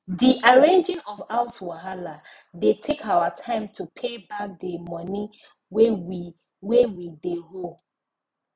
d arranging of house wahala de take our time to pay back d money wey we wey we de owe